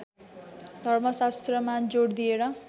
धर्मशास्त्रमा जोड दिएर